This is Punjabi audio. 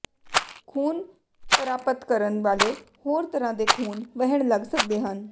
ਖੂਨ ਪਰਾਪਤ ਕਰਨ ਵਾਲੇ ਹੋਰ ਤਰ੍ਹਾਂ ਦੇ ਖੂਨ ਵਹਿਣ ਲੱਗ ਸਕਦੇ ਹਨ